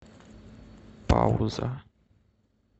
пауза